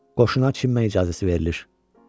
Qoşuna çimməyə icazə verilir.